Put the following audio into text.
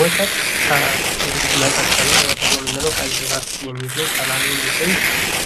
ወተት እንግዲህ መጠጥ ነው ።ወተት የምንለው ከእንስሳት የሚገኝ ከላም የሚገኝ